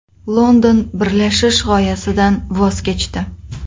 London birlashish g‘oyasidan voz kechdi.